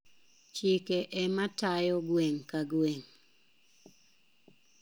Chike ema tayo gweng` ka gwemg`.